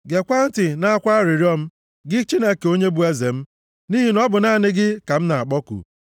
Geekwa ntị nʼakwa arịrịọ m, gị Chineke onye bụ eze m. Nʼihi na ọ bụ naanị gị ka m na-akpọku.